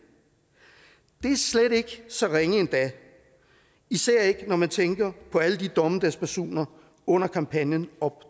det er slet ikke så ringe endda især ikke når man tænker på alle dommedagsbasunerne under kampagnen op